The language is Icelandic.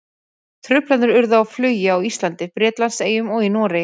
Truflanir urðu á flugi á Íslandi, Bretlandseyjum og í Noregi.